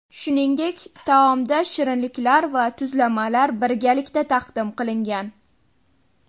Shuningdek, taomda shirinliklar va tuzlamalar birgalikda taqdim qilingan.